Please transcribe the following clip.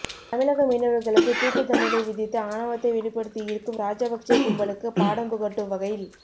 தமிழக மீனவர்களுக்கு தூக்கு தண்டனை விதித்து ஆணவத்தை வெளிப்படுத்தியிருக்கும் ராஜபக்சே கும்பலுக்கு பாடம் புகட்டும் வகையில்